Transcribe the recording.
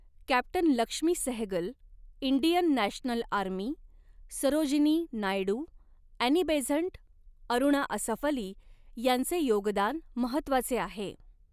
Captain Lakshmi Sehgal Indian national army Sarojini Naidu Annie Besant Aruna Asaf Ali यांचे योगदान महत्त्वाचे आहे.